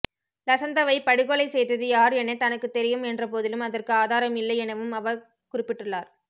லசந்தவை படுகொலை செய்தது யார் என தனக்குத் தெரியும் என்ற போதிலும் அதற்கு ஆதாரம் இல்லை எனவும் அவர் குறிப்பிட்டுள்ளார்